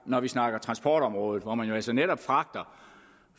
når vi snakker transportområdet hvor man jo altså netop fragter